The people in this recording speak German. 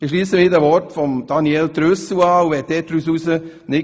Ich schliesse mich den Worten Daniel Trüssels an.